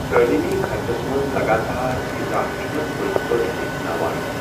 تٲلیمی خرچس منٛز لگاتار اضافہٕ چھ ٗمےٚ پٔزۍ پٲٹھۍ لِتھناوان ۔